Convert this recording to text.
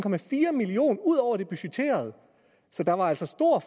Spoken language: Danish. million kroner ud over det budgetterede så der var altså stor